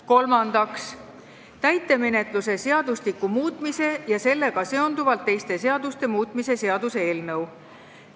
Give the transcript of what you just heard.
Kolmandaks, täitemenetluse seadustiku muutmise ja sellega seonduvalt teiste seaduste muutmise seaduse eelnõu.